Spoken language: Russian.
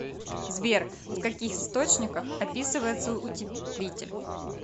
сбер в каких источниках описывается утеплитель